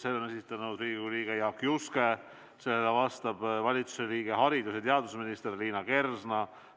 Selle esitab Riigikogu liige Jaak Juske ja sellele vastab valitsuse liige haridus- ja teadusminister Liina Kersna.